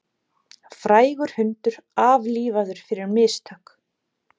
Frægur hundur aflífaður fyrir mistök